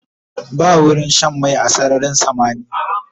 Ba wurin Shan mai a sararin samaniya